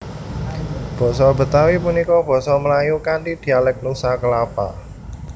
Basa Betawi punika basa Melayu kanthi dialék Nusa Kalapa